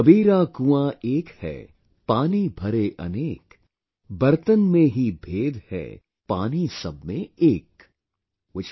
'Kabira Kuan Ek hai, Pani Bhare AnekBartan mein hi bhed hai, Paani sab mein ek'